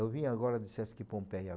Eu vim agora do Sesc Pompeia.